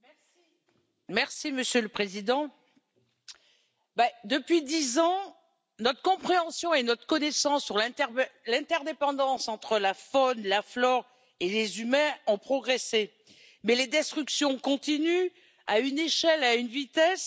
Monsieur le Président, depuis dix ans, notre compréhension et notre connaissance de l'interdépendance entre la faune, la flore et les humains ont progressé, mais les destructions continuent à une échelle et à une vitesse jamais connues.